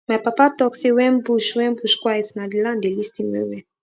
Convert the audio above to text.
my papa talk say when bush when bush quiet na the land dey lis ten well well